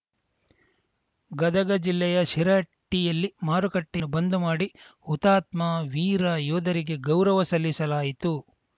ಗದಗ ಜಿಲ್ಲೆಯ ಶಿರಹಟ್ಟಿಯಲ್ಲಿ ಮಾರುಕಟ್ಟೆಯ ಬಂದ್‌ ಮಾಡಿ ಹುತಾತ್ಮ ವೀರ ಯೋಧರಿಗೆ ಗೌರವ ಸಲ್ಲಿಸಲಾಯಿತು